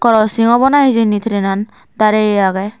crossing obo nahe hijeni trainan darey agey.